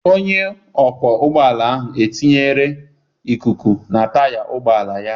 Onye ọkwọ ụgbọala ahụ etinyere ikuku na taya ụgbọala ya.